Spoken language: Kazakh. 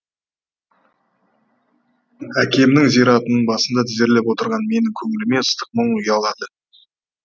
әкемнің зиратының басында тізерлеп отырған менің көңіліме ыстық мұң ұялады